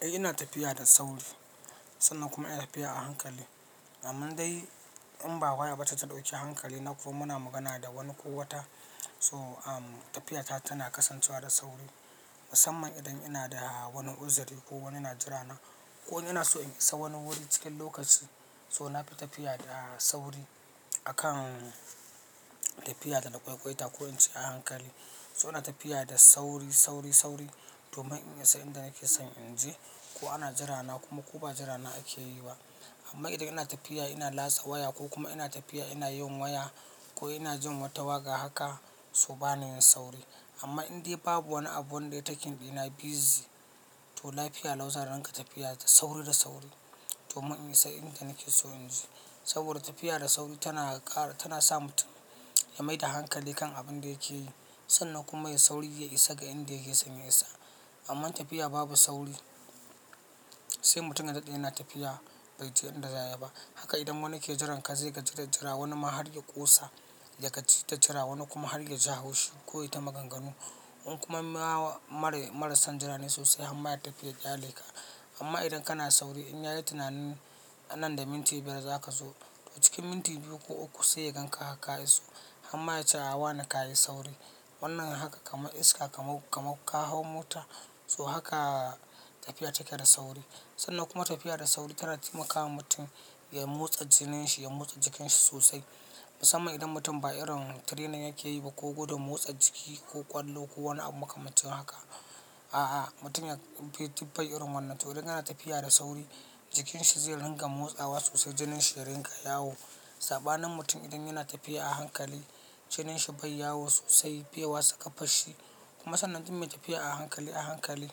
Eh ina tafiya da sauri sannan kuma ina tafiya a hankali. Amma dai in ba waya bace ta ɗauki hankali na ko muna magana da wani ko wata so, tafiyata tana kasancewa da sauri. Musamman idan ina da wani uzuri ko wani na jira na ko ina so in isa wani wuri cikin lokaci. So nafi tafiya da sauri akan tafiya da lagwaigwaita ko in ci a hankali. So ina tafiya da sauri, sauri, sauri domin in isa inda nake son in je ko ana jira na kuma ko ba jira na ake yi ba. Amma idan ina tafiya ina latsa waya ko kuma ina tafiya ina yin waya ko ina jin wata waƙa haka so bana yin sauri. Amma indai babu wani abu wanda ya taking ɗina busy to lafiya lau zan inga tafiya da sauri da sauri domin in isa inda nake so in je. Saboda tafiya da sauri tana ƙara, tana sa mutum ya mai da hankali kan abin da yake yi sannan kuma ya sauri ya isa ga inda yake son ya isa. Amma tafiya babu sauri sai mutum ya daɗe yana tafiya bai je inda za ya ba. Haka idan wani ke jiran ka zai gaji da jira wani ma har ya ƙosa da ka ci ta jira wani kuma har ya ji haushi ko ya ta maganganu. In kuma ma marai, marasan jirane sosai harma ya tafi ya ƙyale ka. Amma idan kana sauri in yayi tunanin nan da minti biyar za ka zo. Cikin minti biyu ko uku sai ya ganka harka iso hamma yace wane ka yi sauri. Wannan haka kamar iska kamar, kamar ka hau mota so haka tafiya take da sauri sannan kuma tafiya da sauri tana taimakawa mutum ya motsa jinin shi, ya motsa jikin shi sosai. Musamman idan mutum ba irin training yake yi ba ko gudun motsa jiki ko ƙwallo ko wani abu makamancin haka. A a mutum ya fi, fi irin wannan to idan yana tafiya da sauri jikin shi zai rinƙa motsawa sosai, jinin shi yarinƙa yawo. Saɓanin mutum idan yana tafiya a hankali jinin shi bai yawo sosai, bai wasa ƙafar shi kuma sannan duk mai tafiya a hankali a hankali.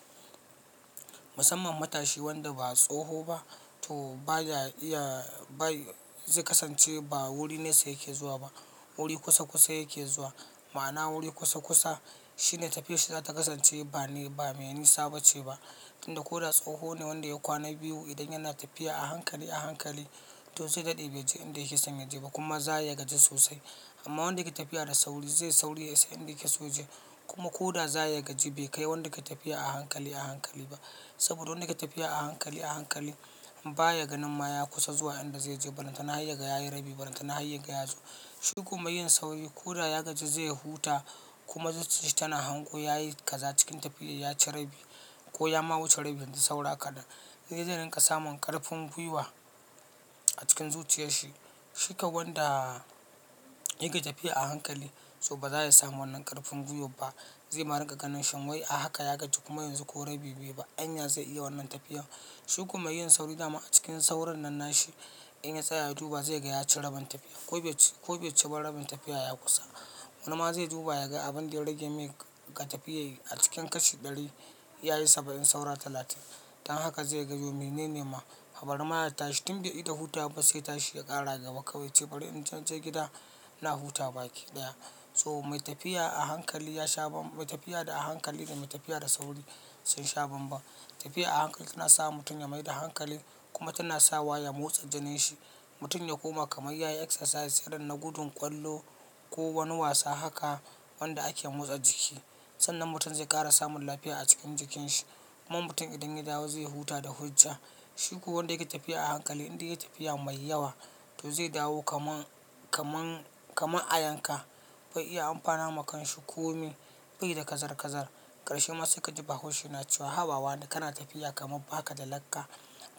Musamman matashi wanda ba tsoho ba to baya iya bai zai kasance ba wuri nesa yake zuwa ba wuri kusa kusa yake zuwa. Ma'ana wuri kusa kusa shine tafiyar sa zata kasance ba ne ba mai nisa bace ba. Inda ko da tsoho ne wanda ya kwana biyu idan yana tafiya a hankali a hankali to zai daɗe bai je inda yake son ya je ba kuma zaya gaji sosai. Amma wanda yake tafiya da sauri zai sauri ya isa inda yake so ya je kuma ko da zaya gaji bai kai wanda yake tafiya a hankali a hankali ba. Saboda wanda yake tafiya a hankali a hankali baya ganin maya kusa zuwa inda zai je. Balantana har yaga ya yi rabi balantana har yaga ya zo. Shi kuma yin sauri ko da ya gaji zai huta kuma zuciya shi tana hango ya yi kaza cikin tafiya ya ci rabi ko ya ma wuce rabi yanzu saura kaɗan. Zai daina samun ƙarfin gwiwa a cikin zuciyar shi. Shi kan wanda yake tafiya a hankali to ba za ya samu wannan ƙarfin gwiwan ba. Zai ma inga ganin shin wai a haka ya gaji kuma yanzu ko rabi bai yi ba anya zai iya wannan tafiyar. Shi ko meyin sauri dama a cikin saurin nan na shi in ya tsaya ya duba zai ga ya ci rabin tafiyar ko beci, ko be ci ba rabin tafiyar ya kusa. Wani ma zai duba ya ga abin da ya rage mai ga tafiya yake a cikin kashi ɗari ya yi saba'in saura talatin. Dan haka zai gano mene ne ma bari ma ya tashi tun bai ta huta ba sai ta shi ya ƙara gaba ka ce bari in je gida na huta baki ɗaya. So mai tafiya a hankali ya sha bambar, mai tafiya da a hankali da mai tafiya da sauri sun sha bambam. Tafiya a hankali tana sa mutum ya mai da hankali kuma tana sawa ya motsa jinin shi. Mutum ya koma kamar yayi exercise irin na gudun ƙwallo ko wani wasa haka wanda ake motsa jiki. Sannan mutum zai ƙara samun lafiya a cikin jikin shi. Kuma mutum idan ya dawo zai huta da hujja. Shi kuwa wanda yake tafiya a hankali idan ya yi tafiya mai yawa to zai dawo kamar, kamar, kamar a yanka bai iya amfana ma kan shi kome bai da kazar kazar. Karshe masa ka ji bahaushe na cewa haba wane kana tafiya kamar ba ka da lakka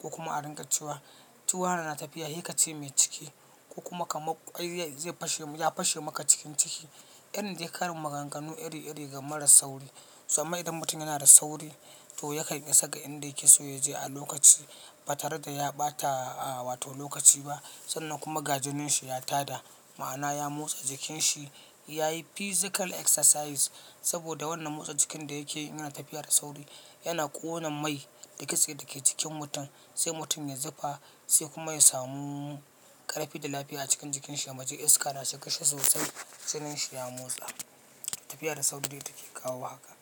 ko kuma a ringa cewa ji wane na tafiya, ye kace mai ciki ko kuma kamar ƙwai zai fashe, ya fashe maka cikin ciki. Irin dai karin maganganu iri iri ga marar sauri. Sannan idan mutum yana da sauri to ya kan isa ga inda yake so ya je a lokaci ba tare da ya ɓata a wato lokaci ba sannan kuma ga jinin shi ya tada. Ma'ana ya motsa jikin shi, ya yi physical exercise saboda wannan motsa jikin da yake yana tafiya da sauri yana ƙona mai, da kitse dake cikin mutum sai mutum ya zuba sai kuma ya samu ƙarfi da lafiya a cikin jikin shi. Yaji iska na shigar shi sosai jinin shi ya motsa. Tafiya da sauri dai take kawo haka.